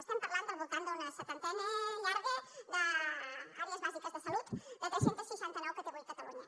estem parlant del voltant d’una setantena llarga d’àrees bàsiques de salut de tres cents i seixanta nou que té avui catalunya